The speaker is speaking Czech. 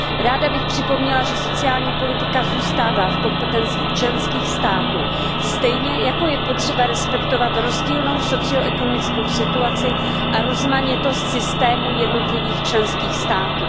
Ráda bych připomněla, že sociální politika zůstává v kompetenci členských států, stejně jako je potřeba respektovat rozdílnou socio ekonomickou situaci a rozmanitost systémů jednotlivých členských států.